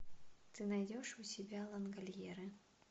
ты найдешь у себя лангольеры